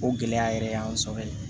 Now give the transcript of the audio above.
O gɛlɛya yɛrɛ y'an sɔrɔ